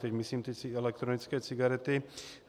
Teď myslím ty elektronické cigarety.